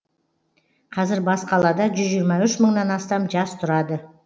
қазір бас қалада жүз жиырма үш мыңнан астам жас тұрады